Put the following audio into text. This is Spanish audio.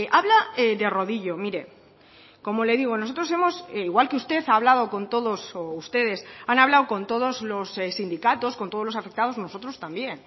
habla de rodillo mire como le digo nosotros hemos igual que usted ha hablado con todos o ustedes han hablado con todos los sindicatos con todos los afectados nosotros también